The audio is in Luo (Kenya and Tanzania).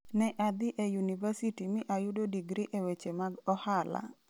Ne adhi e yunivasiti mi ayudo digri e weche mag ohala.